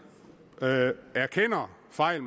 erkender fejl